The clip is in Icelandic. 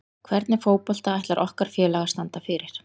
Hvernig fótbolta ætlar okkar félag að standa fyrir?